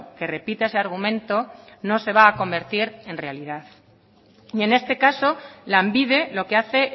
que repita ese argumento no se va a convertir en realidad y en este caso lanbide lo que hace